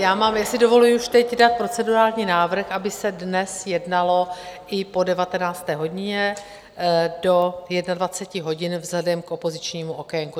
Já si dovoluji už teď dát procedurální návrh, aby se dnes jednalo i po 19. hodině do 21 hodin vzhledem k opozičnímu okénku.